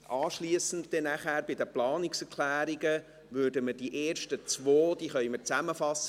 Anschliessend, bei den Planungserklärungen, können wir die ersten beiden zusammenfassen.